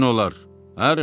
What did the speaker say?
Yəqin olar, hə Rimo?